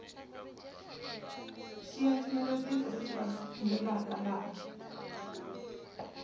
xiya xinavetiso lexi landzelaka laha